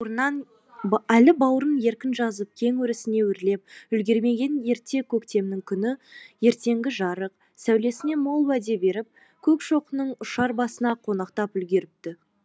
әлі бауырын еркін жазып кең өрісіне өрлеп үлгермеген ерте көктемнің күні ертеңгі жарық сәулесінен мол уәде беріп көкшоқының ұшар басына қонақтап үлгеріпті